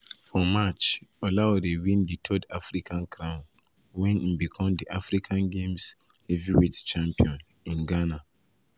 for march olaore win di third african crown wen im become di african games heavyweight champion in ghana.